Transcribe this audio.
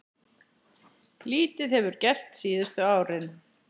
Lítið hefur gerst síðustu árin.